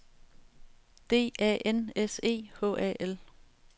D A N S E H A L